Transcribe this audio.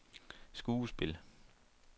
skuespil